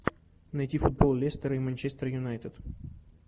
найти футбол лестер и манчестер юнайтед